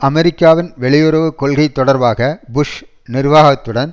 அமெரிக்காவின் வெளியுறவு கொள்கை தொடர்பாக புஷ் நிர்வாகத்துடன்